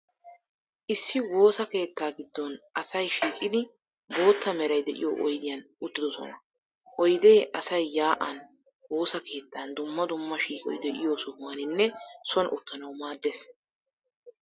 Issi woosa keettaa giddon asay shiiqidi bootta meray de'iyoo oydiyan uttidoosona. Oydee asay yaa'an, woosa keettan, dumma dumma shiiqoy de'iyoo sohuwaaninne soon uttanawu maaddees.